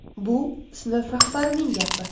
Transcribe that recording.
Bu sinf rahbarining gapi.